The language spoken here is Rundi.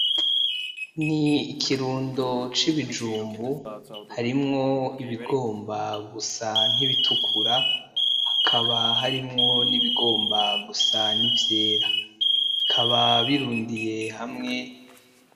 Ni ikirundo cibijumbu harimwo ibigomba gusa nkibitukura hakaba harimwo nibigomba gusa nivyera, bikaba birundiye hamwe.